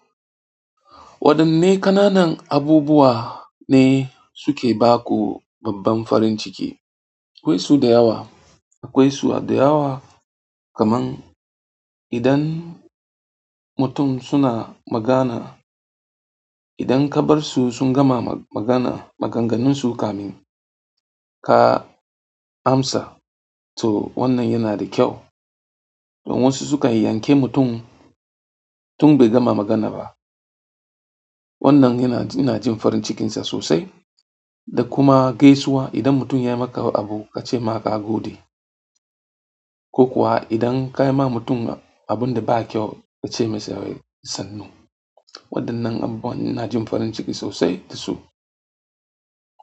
Waɗanne ƙananan abubuwa ne suke ba ku babban farin ciki? Akwai su da yawa, akwai su da yawa. Kaman idan mutum suna magana, idan ka bar su sun gama magana, maganganun su kamin ka. Amsa, to wannan yana da kyau. Don wasu sukan yanke mutum tun bai gama magana ba. Wannan ina jin farin cikin sa sosai. Da kuma gaisuwa. Idan mutum yai maka abu ka ce ma ka gode. Ko kuwa idan kai ma mutum abun da ba kyau, ka ce masa sannu. Waɗannan abubuwa ina jin farin ciki sosai da su.